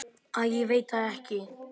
Æi ég veit það ekki.